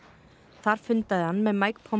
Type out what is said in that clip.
þar fundaði hann með